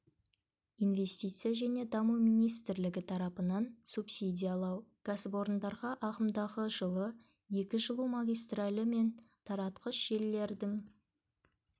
инвестиция және даму министрлігі тарапынан субсидиялау кәсіпорындарға ағымдағы жылы екі жылу магистралы мен таратқыш желілердің